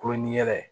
Kulon ni yɛlɛ ye